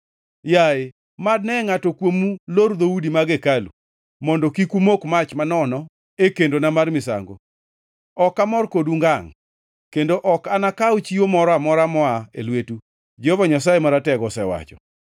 “Yaye, mad ne ngʼato kuomu lor dhoudi mag hekalu, mondo kik umok mach manono e kendona mar misango! Ok amor kodu ngangʼ, kendo ok anakaw chiwo moro amora moa e lwetu,” Jehova Nyasaye Maratego osewacho.